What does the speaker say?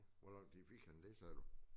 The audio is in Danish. Hvor lang tid fik han det sagde du?